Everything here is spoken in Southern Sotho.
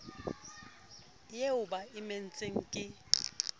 eo ba e emetseng ke